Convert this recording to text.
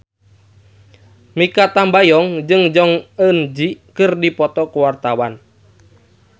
Mikha Tambayong jeung Jong Eun Ji keur dipoto ku wartawan